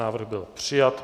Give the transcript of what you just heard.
Návrh byl přijat.